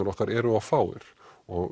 okkar eru of fáir og